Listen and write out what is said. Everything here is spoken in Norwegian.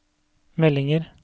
meldinger